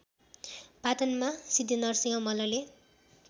पाटनमा सिद्धिनरसिहं मल्लले